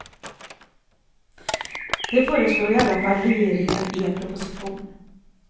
Det föreslår i alla fall regeringen i en proposition.